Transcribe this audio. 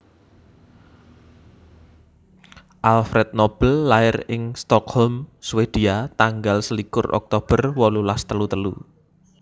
Alfred Nobel lair ing Stockholm Swedia tanggal selikur Oktober wolulas telu telu